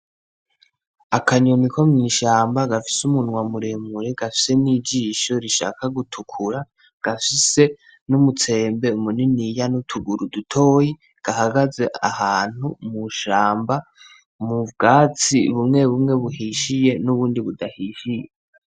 Akanyoni ko mwishamba, gafise umunwa muremure gafise n'ijisho rishaka gutukura, gafise n'umutsembe muniniya n'utuguru dutoya, gahagaze ahantu mw'ishamba m'ubwatsi bumwe bumwe buhishiye n'ubundi budahishiye.